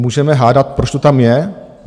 Můžeme hádat, proč to tam je?